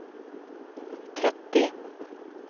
trettio